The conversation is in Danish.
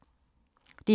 DR2